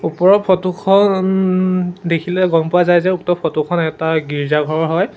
ওপৰৰ ফটো খন দেখিলে গ'ম পোৱা যায় যে উক্ত ফটো খন এটা গীৰ্জাঘৰ হয়।